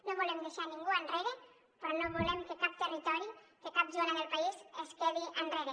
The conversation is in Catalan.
no volem deixar ningú enrere però no volem que cap territori que cap zona del país es quedi enrere